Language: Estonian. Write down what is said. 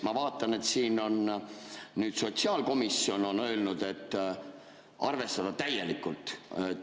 Ma vaatan, et siin on nüüd sotsiaalkomisjon öelnud: "arvestada täielikult.